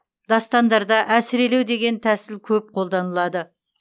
дастандарда әсірелеу деген тәсіл көп қолданылады